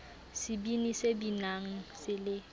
sebini se binang se le